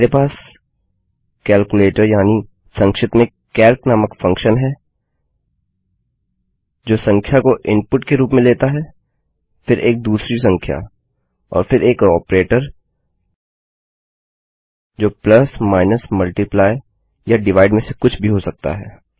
मेरे पास कैलकुलेटर या संक्षिप्त में कैल्क नामक फंक्शन है जो संख्या को इनपुट के रूप में लेता है फिर एक दूसरी संख्या और फिर एक ऑपरेटर जो प्लस माइनस multiplyया डिवाइड में से कुछ भी हो सकता है